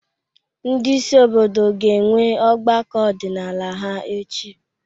Ndị isi obodo ga-enwe ọgbakọ ọdịnala ha echi.